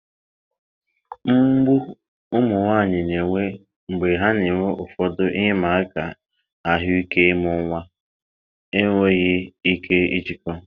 mgbu ụmụ nwanyị na-enwe mgbe ha na-enwe ụfọdụ ihe ịma aka ahụike ịmụ nwa enweghị ike ijikọ.